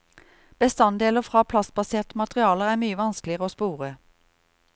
Bestanddeler fra plastbaserte materialer er mye vanskeligere å spore.